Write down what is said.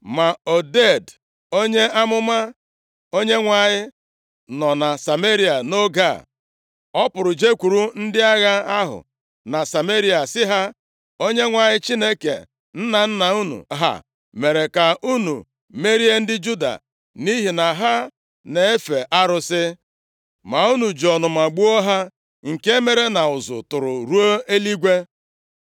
Ma Oded, onye amụma Onyenwe anyị, nọ na Sameria nʼoge a. Ọ pụrụ jekwuru ndị agha ahụ na Sameria sị ha, “ Onyenwe anyị Chineke nna nna unu ha mere ka unu merie ndị Juda nʼihi na ha na-efe arụsị. Ma unu ji ọnụma gbuo ha, nke mere na ụzụ tụrụ ruo nʼeluigwe.